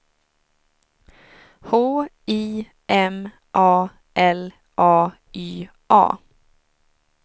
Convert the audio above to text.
H I M A L A Y A